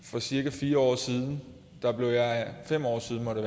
for cirka fire år siden nej fem år siden må det